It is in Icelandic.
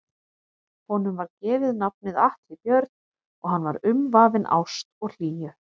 Honum var gefið nafnið Atli Björn og hann var umvafinn ást og hlýju.